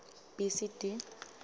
b c d